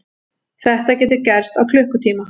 Þetta getur gerst á klukkutíma.